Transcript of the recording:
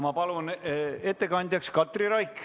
Ma palun ettekandjaks Katri Raigi.